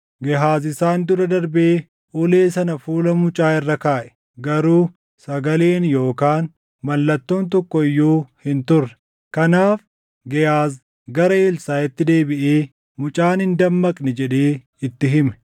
Gehaaz isaan dura darbee ulee sana fuula mucaa irra kaaʼe; garuu sagaleen yookaan mallattoon tokko iyyuu hin turre. Kanaaf Gehaaz gara Elsaaʼitti deebiʼee, “Mucaan hin dammaqne” jedhee itti hime.